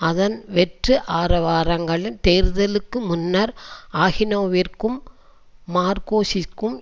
அதன் வெற்றுஆரவாரங்களில் தேர்தலுக்கு முன்னர் அகினோவிற்கும் மார்கோஸிற்கும்